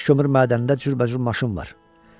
Daş kömür mədənində cürbəcür maşın var.